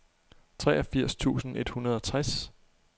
treogfirs tusind et hundrede og tres